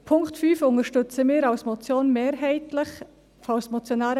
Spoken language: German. Mehrheitlich unterstützen wir den Punkt 5 als Motion.